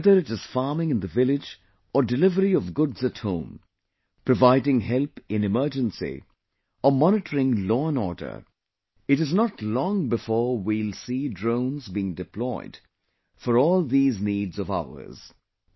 Whether it is farming in the village or delivery of goods at home; Providing help in emergency or monitoring law and order ; it is not long before we will see drones being deployed for all these needs of ours